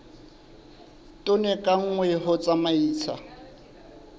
tone ka nngwe ho tsamaisa